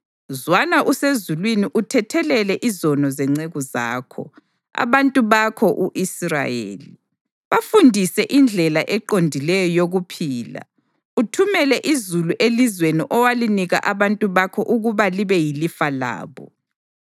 zwana usezulwini uthethelele izono zenceku zakho, abantu bakho u-Israyeli. Bafundise indlela eqondileyo yokuphila uthumele izulu elizweni owalinika abantu bakho ukuba libe yilifa labo.